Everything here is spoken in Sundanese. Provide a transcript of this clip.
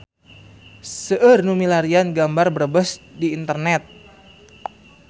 Seueur nu milarian gambar Brebes di internet